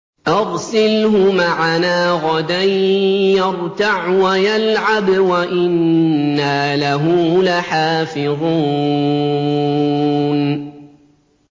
أَرْسِلْهُ مَعَنَا غَدًا يَرْتَعْ وَيَلْعَبْ وَإِنَّا لَهُ لَحَافِظُونَ